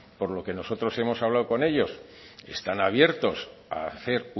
por lo que nosotros hemos hablado con ellos están abiertos a hacer